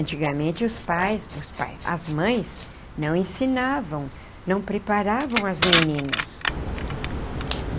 Antigamente os pais os pais, as mães não ensinavam, não preparavam as meninas.